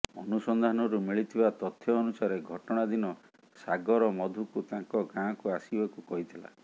ଅନୁସନ୍ଧାନରୁ ମିଳିଥିବା ତଥ୍ୟ ଅନୁସାରେ ଘଟଣା ଦିନ ସାଗର ମଧୁକୁ ତାଙ୍କ ଗାଁକୁ ଆସିବାକୁ କହିଥିଲା